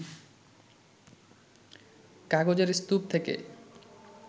কাগজের স্তূপ থেকে